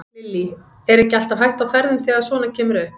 Lillý: Er ekki alltaf hætta á ferðum þegar að svona kemur upp?